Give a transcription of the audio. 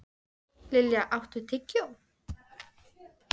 Lilja, áttu tyggjó?